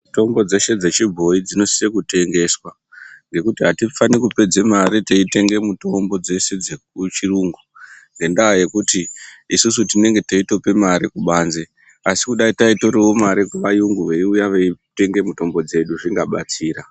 Mutombo dzeshe dze chibhoyi dzino sise kutengeswa ngekuti atifani kupedze mari teyi tenge mitombo dzeshe dzeku chiyungu ngendaa yekuti isusu tinenge teitope mari kubanze asi kudai taitorawo mari ku vayungu veiuya veitenga mitombo dzedu zvinga batsira.